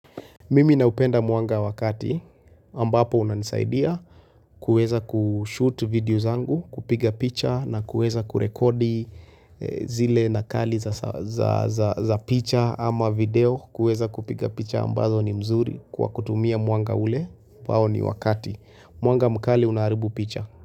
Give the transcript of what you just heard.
Mimi naupenda mwanga wakati ambapo unanisaidia kuweza kushoot videos zangu kupiga picha na kuweza kurekodi zile nakali za picha ama video kuweza kupiga picha ambazo ni mzuri kwa kutumia mwanga ule ambao ni wakati. Mwanga mkali unaharibu picha.